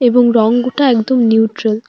এবং রঙ গোটা একদম নিউট্রাল ।